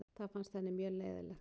Það fannst henni mjög leiðinlegt.